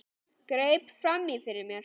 Greip fram í fyrir mér.